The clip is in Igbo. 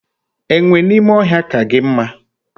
Enwe n'ime ohia ka gi mma